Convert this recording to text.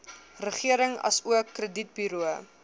regering asook kredietburo